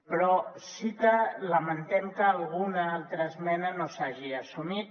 però sí que lamentem que alguna altra esmena no s’hagi assumit